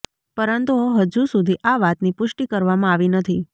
પરંતુ હજુ સુધી આ વાતની પુષ્ટિ કરવામાં આવી નથી